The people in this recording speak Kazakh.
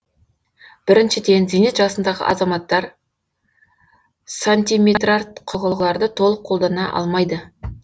біріншіден зейнет жасындағы азаматтар сантиметрарт құрылғыларды толық қолдана алмайды